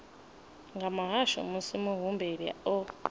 nga muhasho musi muhumbeli o